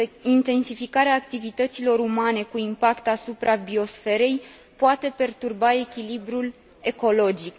Intensificarea activităților umane cu impact asupra biosferei poate perturba echilibrul ecologic.